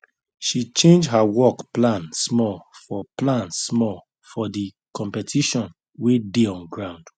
she change her work plan small for plan small for the competition wey dey on ground